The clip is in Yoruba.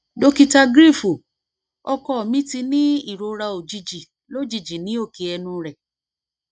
dokita cs] griefu ọkọ mi ti ni irora ojiji lojiji ni oke ẹnu rẹ